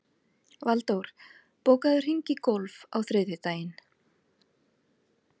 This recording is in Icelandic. Valdór, bókaðu hring í golf á þriðjudaginn.